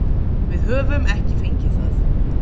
Við höfum ekki fengið það.